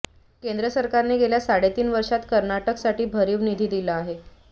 केंद्र सरकारने गेल्या साडेतीन वर्षांत कर्नाटकसाठी भरीव निधी दिला आहे